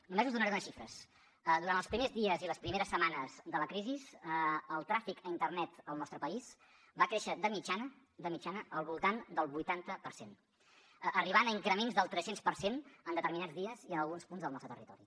només us donaré unes xifres durant els primers dies i les primeres setmanes de la crisi el tràfic a internet al nostre país va créixer de mitjana de mitjana al voltant del vuitanta per cent i va arribar a increments del tres cents per cent en determinats dies i en alguns punts del nostre territori